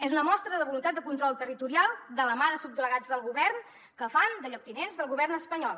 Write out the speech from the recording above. és una mostra de voluntat de control territorial de la mà de subdelegats del govern que fan de lloctinents del govern espanyol